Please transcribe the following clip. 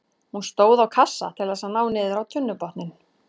Hún stóð á kassa til þess að ná niður á tunnubotninn.